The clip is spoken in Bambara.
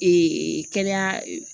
kɛnɛya